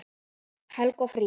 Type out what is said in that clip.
Helgi og Fríða.